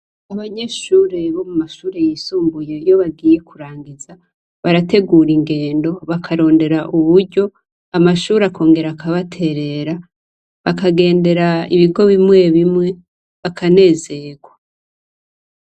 Abanyeshure bo muma shure yisumbuye iyo bagiye kurangiza, barategur'ingendo bakagendo bakarondera uburyo amashure akongera akabaterera. Bakagendera ibigo bimwe bimwe bakanezerwa.